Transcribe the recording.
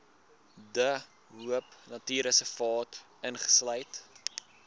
de hoopnatuurreservaat insluit